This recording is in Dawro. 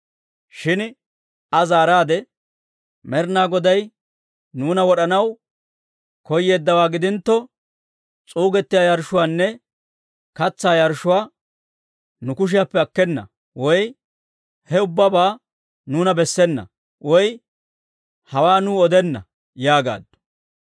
Shin Aa zaaraadde, «Med'inaa Goday nuuna wod'anaw koyeeddawaa gidintto, s'uuggiyaa yarshshuwaanne katsaa yarshshuwaa nu kushiyaappe akkena, woy he ubbabaa nuuna bessena, woy hawaa nuu odenna» yaagaaddu.